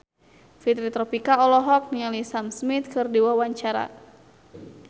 Fitri Tropika olohok ningali Sam Smith keur diwawancara